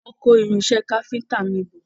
Wọ́n ń kó irinṣẹ́ káfíntà mi bọ̀.